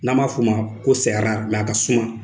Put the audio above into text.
N'a b'a f'o ma ko sɛ arari mɛ a ka suma